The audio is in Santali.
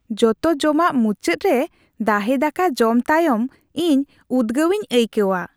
ᱡᱚᱛᱚ ᱡᱚᱢᱟᱜ ᱢᱩᱪᱟᱹᱫ ᱨᱮ ᱫᱟᱦᱮ ᱫᱟᱠᱟ ᱡᱚᱢ ᱛᱟᱭᱚᱢ ᱤᱧ ᱩᱫᱜᱟᱹᱣᱤᱧ ᱟᱹᱭᱠᱟᱹᱣᱟ ᱾